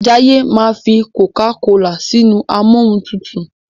Jaiye ma fí cocacola sínú Amóhuntutù.